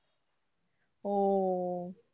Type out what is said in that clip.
ও,